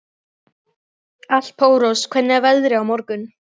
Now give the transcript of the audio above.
Marsilía, hvenær kemur leið númer sjö?